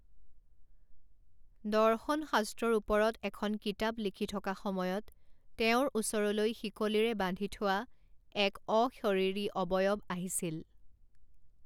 দৰ্শন শাস্ত্ৰৰ ওপৰত এখন কিতাপ লিখি থকা সময়ত তেওঁৰ ওচৰলৈ শিকলিৰে বান্ধি থোৱা এক অশৰীৰী অৱয়ব আহিছিল।